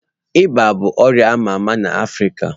Ịba bụ ọrịa a ma ama n'Afrịka